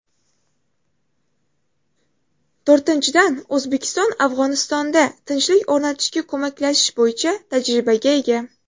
To‘rtinchidan, O‘zbekiston Afg‘onistonda tinchlik o‘rnatishga ko‘maklashish bo‘yicha tajribaga ega.